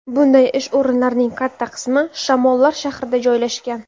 Bunday ish o‘rinlarining katta qismi Shamollar shahrida joylashgan.